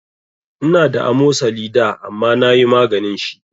Ina da amosali da amma nayi maganin shi